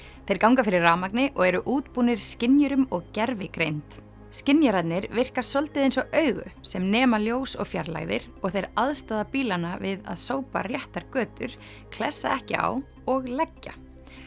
þeir ganga fyrir rafmagni og eru útbúnir skynjurum og gervigreind skynjararnir virka svolítið eins og augu sem nema ljós og fjarlægðir og þeir aðstoða bílana við að sópa réttar götur klessa ekki á og leggja